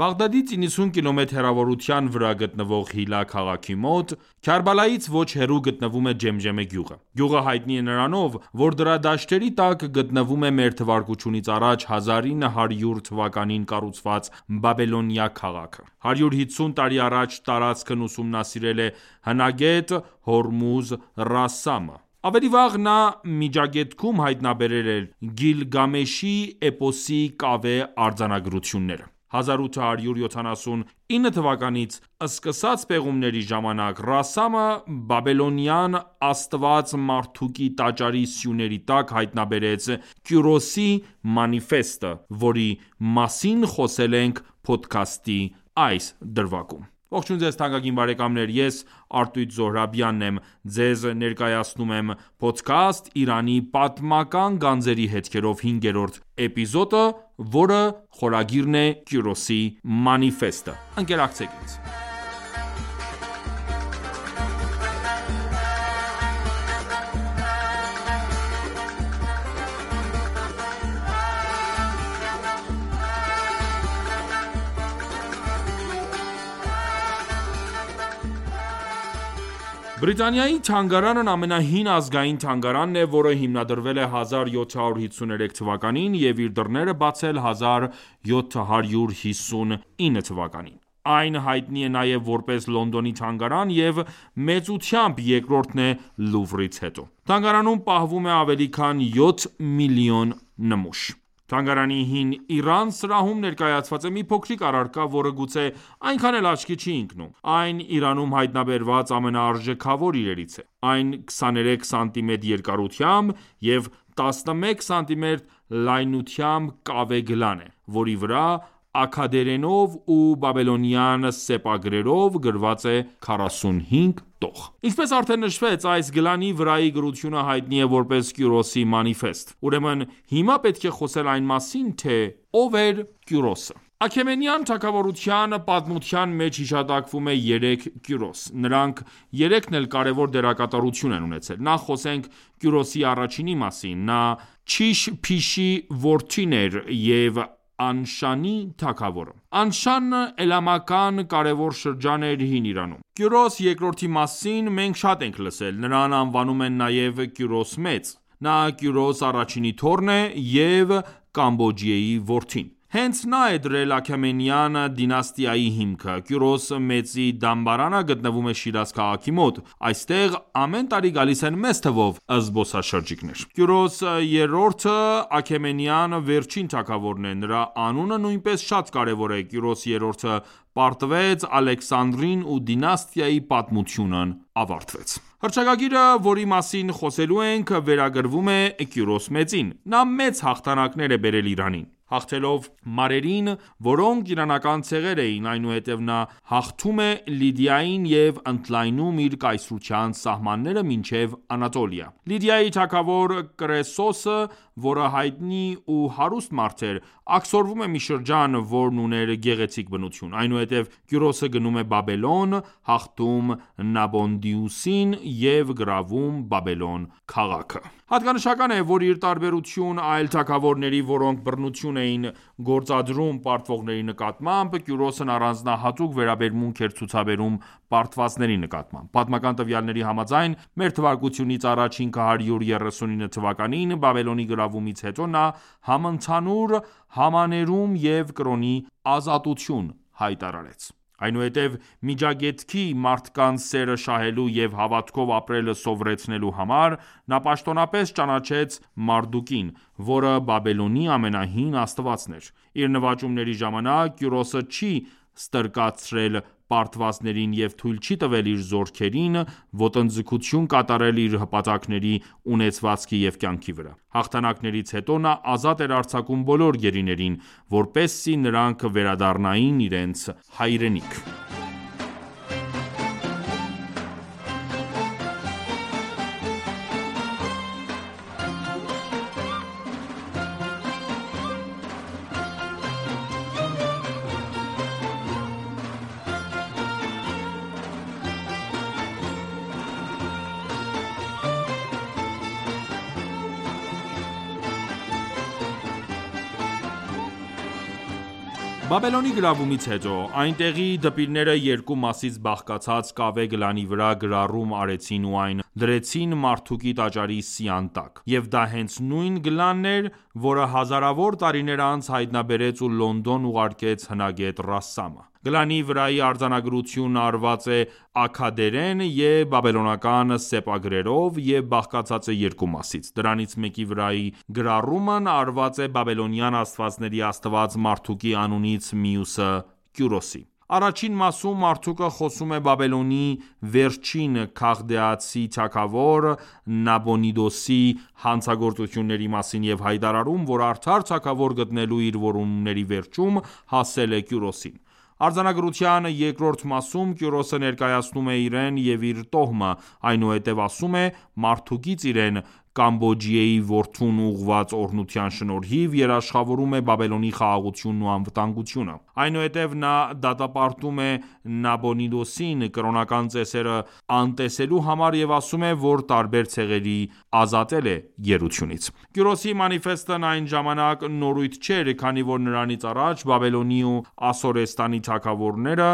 Բաղդադից 90 կմ հեռավորության վրա գտնվող Հիլլա քաղաքի մոտ, Քարբալայից ոչ հեռու, գտնվում է Ջեմջեմե գյուղը։ Գյուղը հայտնի է նրանով, որ դրա դաշտերի տակ գտնվում է մ․թ․ա․ 1900 թվականին կառուցված Բաբելոնիա քաղաքը։ 150 տարի առաջ տարածքն ուսումանսիրել է հնագետ Հորմուզ Ռասսամը։ Ավելի վաղ, նա Միջագետքում հայտնաբերել էր «Գիլգամեշի էպոսի կավե արձանագրությունները»։ 1879թ․ սկսած պեղումների ժամանակ Ռասսամը բաբելոնյան աստված Մարդուկի տաճարի սյուների տակ հայտնաբերեց «Կյուրոսի մանիֆեստը», որի մասին խոսելու ենք փոդքասթի այս դրվագում։ Բարև Ձեզ։ Ես ․․․․․․ եմ։ Այս թողարկման ընթացքում կներկայացնեմ տարբեր պատմություններ Կյուրոսի մանիֆեստի վերաբերյալ։ Բրիտանիայի թանգարանն ամենահին ազգային թանգարանն է, որը հիմնադրվել է 1753 թվականին և իր դռները բացել 1759 թվականին։ Այն հայտնի է նաև որպես Լոնդոնի թանգարան և մեծությամբ երկրորդն է Լուվրից հետո։ Թանգարանում պահվում է ավելի քան 7 միլիոն նմուշ։ Թանգարանի «Հին Իրան» սրահում ներկայացված է մի փոքրիկ առարկա, որը գուցե այնքան էլ աչքի չի ընկնում։ Այն Իրանում հայտնաբերված ամենաարժեքավոր իրերից է ։ Այն 23 սմ երկարությամբ և 11 սմ լայնությամբ կավե գլան է, որի վրա աքքադերենով ու բաբելոնյան սեպագրերով գրված է 45 տող։ Ինչպես արդեն նշվեց, այս գլանի վրայի գրությունը հայտնի է որպես Կյուրոսի մանիֆեստ։ Ուրեմն հիմա պետք է խոսել այն մասին, թե ո՞վ էր Կյուրոսը։ Աքեմենյան թագավորության պատմության մեջ հիշատակվում է երեք Կյուրոս։ Նրանք երեքն էլ կարևոր դերակատարություն են ունեցել։ Նախ խոսենք Կյուրոս առաջինի մասին։ Նա Չիշ Փիշի որդին էր և Անշանի թագավորը։ Անշաննն էլամական կարևոր շրջան էր Հին Իրանում։ Կյուրոս II-ի մասին մենք շատ ենք լսել։ Նրան անվանում են նաև Կյուրոս Մեծ։ նա Կյուրոս I-ի թոռն է և Կամբոջիեյի որդին։ Հենց նա է դրել Աքեմենյան դինաստիայի հիմքը։ Կյուրոս մեծի դամբարանը գտնվում է Շիրազ քաղաքի մոտ։ Այստեղ ամեն տարի գալիս են մեծ թվով զբոսաշրջիկներ։ Կյուրոս III-ը Աքեմենյան վերջին թագավորն է։ Նրա անունը նույնպես շատ կարևոր է։ Կյուրոս III-ը պարտվեց Ալեքսանդրին ու դինաստիայի պատմությունն ավարտվեց։ Հռչակագիրը, որի մասին խոսելու ենք, վերագրվում է Կյուրոս մեծին։ Նա մեծ հաղթանակներ է բերել Իրանին։ Հաղթելով մարերին, որոնք իրանական ցեղեր էին, այնուհետև նա հաղթում է Լիդիային և ընդլայնում իր կայսրության սահմանները մինչև Անատոլիա։ Լիդիայի թագավոր Կրեսոսը, որը հայտնի ու հարուստ մարդ էր, աքսորվում է մի շրջան, որն ուներ գեղեցիկ բնություն։ Այնուհետև Կյուրոսը գնում է Բաբելոն, հաղթում Նաբոնիդուսին և գրավում Բաբելոն քաղաքը։ Հատկանշական է, որ ի տարբերություն այլ թագավորների, որոնք բռնություն էին գործադրում պարտվողների նկատմամբ, Կյուրոսն առանձնահատուկ վերաբերմունք էր ցուցաբերում պարտվածների նկատմամբ։ Պատմական տվյալների համաձայն՝ մ.թ.ա 539 թվականին Բաբելոնի գրավումից հետո նա համընդհանուր համաներում և կրոնի ազատություն հայտարարեց։ Այնուհետև Միջագետքի մարդկանց սերը շահելու և հավատքով ապրել սովորեցնելու համար, նա պաշտոնապես ճանաչեց Մարդուկին, որը Բաբելոնի ամենահին Աստվածն էր։ Իր նվաճումների ժամանակ Կյուրոսը չի ստրկացրել պարտվածներին և թույլ չի տվել իր զորքերին ոտնձգություն կատարել իր հպատակների ունեցվածքի և կյանքի վրա։ Հաղթանակներից հետո նա ազատ էր արձակում բոլոր գերիներին, որպեսզի նրանք վերադառնային իրենց հայրենիք։ Բաբելոնի գրավումից հետո, այնտեղի դպիրները երկու մասից բաղկացած կավե գլանի վրա գրառում արեցին ու այն դրեցին Մարդուկի տաճարի սյան տակ։ Եվ դա հենց նույն գլանն էր, որը հազարավոր տարիներ անց հայտնաբերեց ու Լոնդոն ուղարկեց հնագետ Ռասսամը։ Գլանի վրայի արձանագրությունն արված է աքքադերեն և բաբելոնական սեպագրերով և բաղկացած է երկու մասից։ Դրանից մեկի վրայի գրառումն արված է բաբելոնյան աստվածների աստված Մարդուկի անունից, մյուսը՝ Կյուրոսի։ Առաջին մասում Մարդուկը խոսում է Բաբելոնի վերջին քաղդեացի թագավոր Նաբոնիդուսի հանցագործությունների մասին և հայտարարում, որ արդար թագավոր գտնելու իր որոնումների վերջում հասել է Կյուրոսին։ Արձանագրության երկրորդ մասում Կյուրոսը ներկայացնում է իրեն և իր տոհմը, այնուհետև ասում է, Մարդուկից իրեն՝ Կամբոջիեյի որդուն ուղղված օրհնության շնորհիվ, երաշխավորում է Բաբելոնի խաղաղությունն ու անվտանգությունը։ Այնուհետև նա դատապարտում է Նաբոնիդուսին՝ կրոնական ծեսերը անտեսելու համար և ասում է, որ տարբեր ցեղերի ազատել է գերությունից։ Կյուրոսի մանիֆեստն այդ ժամանակ նորույթ չէր, քանի որ նրանից առաջ Բաբելոնի ու Ասորեստանի թագավորները